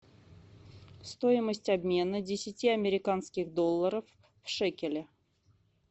стоимость обмена десяти американских долларов в шекели